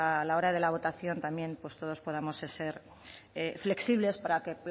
a la hora de la votación también todos podamos ser flexibles para que